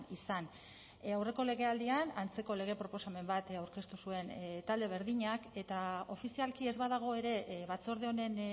izan aurreko legealdian antzeko lege proposamen bat aurkeztu zuen talde berdinak eta ofizialki ez badago ere batzorde honen